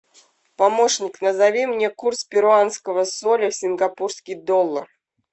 помощник назови мне курс перуанского соля сингапурский доллар